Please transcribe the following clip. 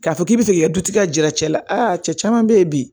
K'a fɔ k'i bɛ fɛ k'i ka dutigi jira cɛla la cɛ caman bɛ ye bi